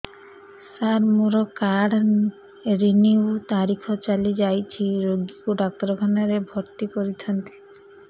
ସାର ମୋର card renew ତାରିଖ ଚାଲି ଯାଇଛି ରୋଗୀକୁ ଡାକ୍ତରଖାନା ରେ ଭର୍ତି କରିଥାନ୍ତି